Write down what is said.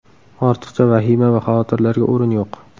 Ortiqcha vahima va xavotirlarga o‘rin yo‘q.